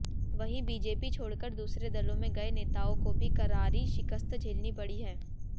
वहीं बीजेपी छोड़कर दूसरे दलों में गए नेताओं को भी करारी शिकस्त झेलनी पड़ी है